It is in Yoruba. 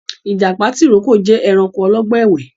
Ìjàpá tìrókò jẹ ẹranko ọlọ́gbọ́n ẹ̀wẹ́